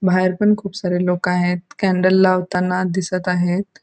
बाहेर पण खूप सारे लोक आहेत. कॅण्डल लावताना दिसत आहेत.